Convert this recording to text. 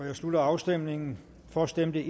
jeg slutter afstemningen for stemte